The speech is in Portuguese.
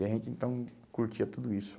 E a gente, então, curtia tudo isso.